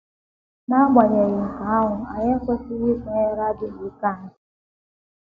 N’agbanyeghị nke ahụ, anyị ekwesịghị ikwenyere adịghị ike anyị.